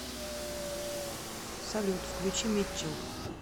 салют включи митчел